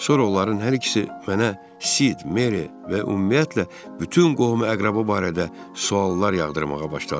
Sonra onların hər ikisi mənə Sid, Meri və ümumiyyətlə bütün qohum-əqraba barədə suallar yağdırmağa başladı.